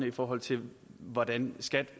i forhold til hvordan skat